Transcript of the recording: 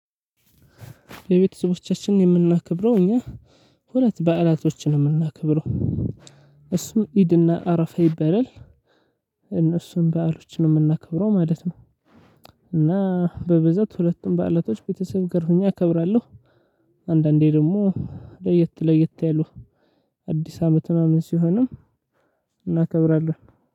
የቤተሰቦቻችንን የምናከብረው እኛ ሁለት በዓላቶችን ነው የምናከብረው እሱም ኢድና አረፋ ይባላል። እነሱን በዓሎች ነው የምናከብረው ማለት ነው። እና በብዛት ሁለቱን በዓላቶች ቤተሰብ ጋር አከብራለሁ። አንዳንዴ ደግሞ ለየት ለየት ያሉ አዲስ አመት ምናምን ሲሆንም እናከብራለን።